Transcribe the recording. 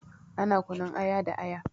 Ana kunun aya da aya.